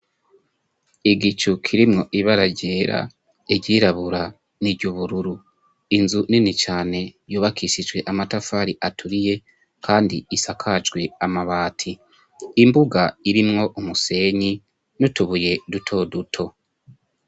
igicu kirimwo ibara ryera igirabura niryubururu inzu nini cyane yubakishijwe amatafari aturiye kandi isakajwe amabati imbuga irinwo umusenyi nutubuye duto duto